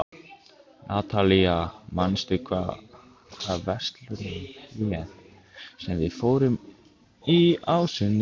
Natalía, manstu hvað verslunin hét sem við fórum í á sunnudaginn?